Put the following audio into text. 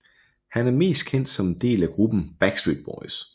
Han er mest kendt som en del af gruppen Backstreet Boys